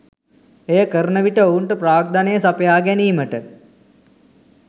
එය කරන විට ඔවුන්ට ප්‍රාග්ධනය සපයා ගැනීමට